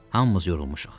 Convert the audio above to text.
Hamımız yorulmuşuq.